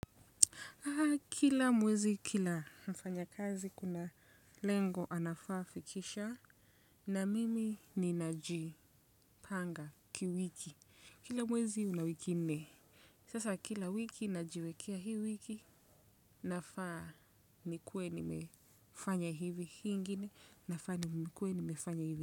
Kila mwezi kila mfanyakazi kuna lengo anafaa fikisha na mimi ninajipanga kiwiki. Kila mwezi una wiki nne. Sasa kila wiki najiwekea hii wiki nafaa nikuwe nimefanya hivi hi ingine nafaa nikuwe nimefanya hivi.